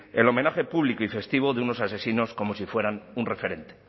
el homenaje público y festivo de unos asesinos como si fueran un referente